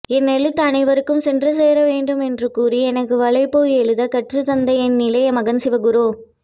என் எழுத்து அனைவருக்கும் சென்று சேரவேண்டும் என்று கூறி எனக்கு வலைப்பூ எழுத கற்றுத்தந்த என் இளைய மகன் சிவகுரு